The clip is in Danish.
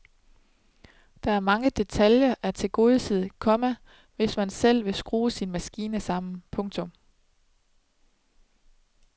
Der er mange detaljer at tilgodese, komma hvis man selv vil skrue sin maskine sammen. punktum